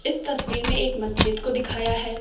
इस तस्वीर में एक मस्जिद को दिखाया है।